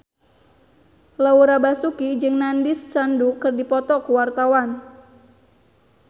Laura Basuki jeung Nandish Sandhu keur dipoto ku wartawan